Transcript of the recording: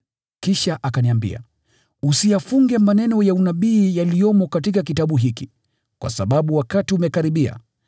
Kisha akaniambia, “Usiyafunge maneno ya unabii yaliyomo katika kitabu hiki, kwa sababu wakati umekaribia.